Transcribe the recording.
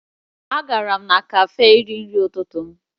Agara m kafee iri nri ụtụtụ m